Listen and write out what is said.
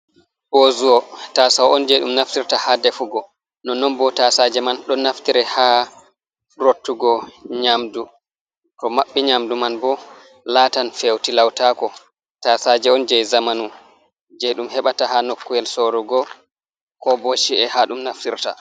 bozuwa taasaw on jey ɗum naftirta haa defugo non-non boo taasaaje man ɗon naftire haa rottugo nyamdu to maɓɓi nyamdu man boo laatan fewtilawtaako, taasaaje on jey zamanu jey ɗum heɓata haa nokkuyel soorugo ko bo ci’e haa ɗum naftirta